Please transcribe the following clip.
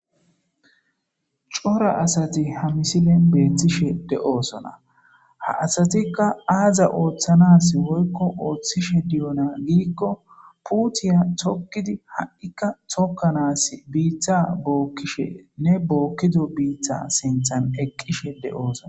cora asati ha misilen beethtishe de7osona ha asatikka aaza ooththanas woykko ooththishe diyona gidikko puutiya tokkidi ha7ikka tokkanas biitha bookkishe ne bookkido biitha sinthan eqqishe de7osona